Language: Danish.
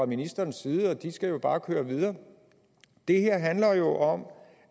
ministerens side og de skal bare køre videre det her handler jo om